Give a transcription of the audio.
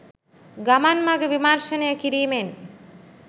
ගමන් මඟ විමර්ශනය කිරීමෙන්